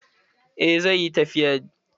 Eh, zai yi tafiyan.